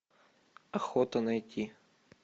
охота найти